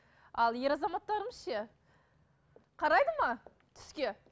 ал ер азаматтарымыз ше қарайды ма түске